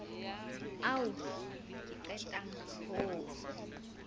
ao ke qetang ho o